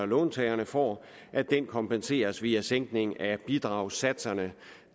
låntagerne får kompenseres via en sænkning af bidragssatserne